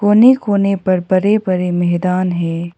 कोने कोने पर बड़े बड़े मैदान है।